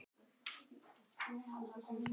Sólveig: Bara ekkert?